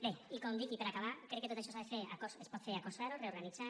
bé i com dic i per acabar crec que tot això s’ha de fer es pot fer a cost zero reorganitzant